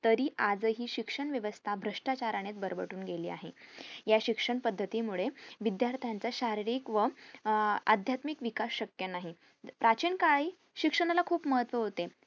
तरी आज हि शिक्षणव्यवस्था भ्रष्टाचाराणे बरबटून गेली आहे या शिक्षण पद्धती मुळे विद्यार्थी च्या शारीरिक व अध्यात्मिक विकास शक्य नाही प्राचीन काळी शिक्षणाला खुप महत्व होते